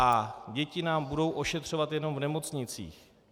A děti nám budou ošetřovat jenom v nemocnicích?